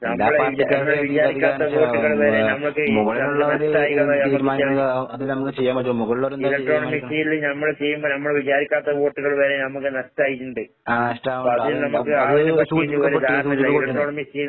നമ്മുടെ ഇലക്ട്രോണിക് മെഷീനില് നമ്മള് ചെയ്യുമ്പ നമ്മള് വിചാരിക്കാത്ത വോട്ട്കൾ വരെ നമ്മക്ക് നഷ്ടായിട്ട്ണ്ട്. അപ്പാദ്യം നമ്മക്ക് ധാരണയില്ല. Electronic machine